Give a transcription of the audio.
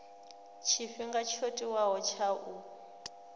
tshifhinga tsho tiwaho tsha u